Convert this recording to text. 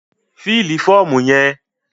Fílì fọ́ọ̀mù yẹn!